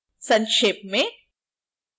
संक्षेप में